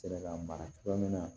Ka mara cogoya min na